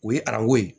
O ye arajo ye